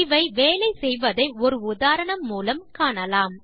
இவை வேலை செய்வதை ஒரு உதாரணம் மூலம் காணலாம்